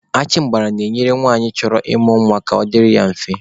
Achịmgbara na-enyere nwanyị chọrọ ịmụ nwa ka ọ dịrị ya mfe.